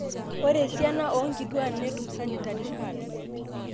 Ore esiana oonkituak netun sanitary pads